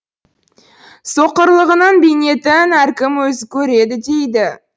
соқырлығының бейнетін әркім өзі көреді дейді